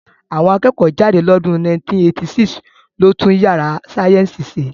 Àwọn akẹ́kọ̀ọ́ jáde lọ́dún 1986 ló tún yàrá sáyẹ́ǹsì ṣe